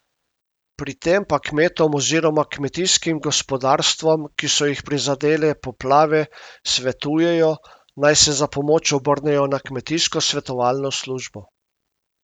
Pri tem pa kmetom oziroma kmetijskim gospodarstvom, ki so jih prizadele poplave, svetujejo, naj se za pomoč obrnejo na kmetijsko svetovalno službo.